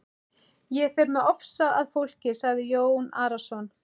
Ég fer með ofsa að fólki, sagði Jón Arason.